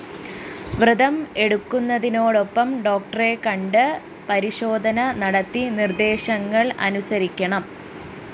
വ്രതം എടുക്കുന്നതോടൊപ്പം ഡോക്ടറെകണ്ട് പരിശോധന നടത്തി നിര്‍ദ്ദേശങ്ങള്‍ അനുസരിക്കണം